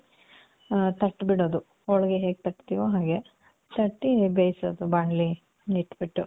ಆ, ತಟ್ಟಬಿಡೋದು. ಹೋಳಿಗೆ ಹೇಗ್ ತಟ್ತೀವೋ ಹಾಗೆ. ತಟ್ಟಿ, ಬೇಸೋದು. ಬಾಣಲಿ ಇಟ್ಬಿಟ್ಟು.